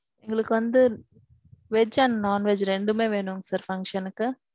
எங்களுக்கு வந்து. veg and non-veg ரெண்டுமே வேணும் sir. function க்கு.